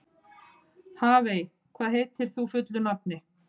Hafey, hvað heitir þú fullu nafni?